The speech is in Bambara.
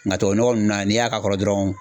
Nga tubabu nɔgɔ nunnu na n'i y'a k'a kɔrɔ dɔrɔn